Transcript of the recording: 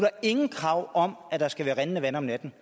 er nogen krav om at der skal være rindende vand om natten